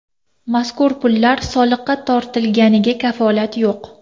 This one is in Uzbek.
Mazkur pullar soliqqa tortilganiga kafolat yo‘q.